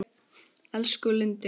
Elsku Lindi.